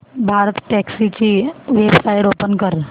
भारतटॅक्सी ची website open कर